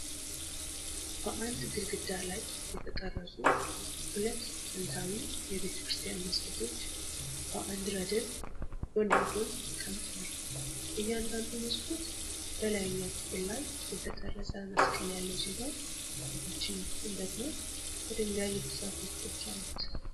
በድንጋይ ግድግዳ ላይ የተቀረጹ ሁለት ጥንታዊ የቤተ ክርስቲያን መስኮቶች በአንድ ረድፍ ጎን ለጎን ተቀምጠዋል። እያንዳንዱ መስኮት በላይኛው ክፍል ላይ የተቀረጸ መስቀል ያለው ሲሆን፣ በታችኛው ክፍል ደግሞ ከድንጋይ የተሠሩ ቅጦች አሉት።